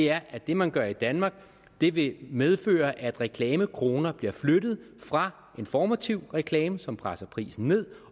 er at det man gør i danmark vil vil medføre at reklamekroner bliver flyttet fra informativ reklame som presser prisen ned